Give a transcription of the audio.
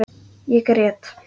Ég grét.